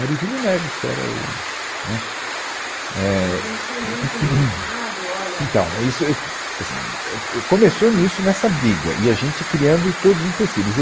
Era o Júlio Neves, que era o... né, éh, Não tinha nenhum comunicado, olha... Então, isso, é, então assim, é, e, começou nisso, nessa briga, e a gente criando todos os empecilhos. E